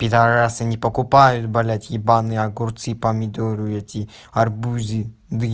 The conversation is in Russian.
пидарасы не покупаюсь блядь ебаные огурцы и помидоры эти арбузы